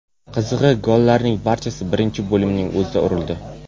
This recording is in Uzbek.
Qizig‘i, gollarning barchasi birinchi bo‘limning o‘zida urildi.